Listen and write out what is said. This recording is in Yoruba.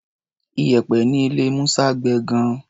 Iyẹ̀pẹ̀ ní ilé Musa gbẹ gan-an.